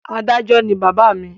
Adájọ́ ni bàbá mi.